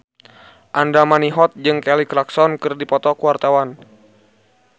Andra Manihot jeung Kelly Clarkson keur dipoto ku wartawan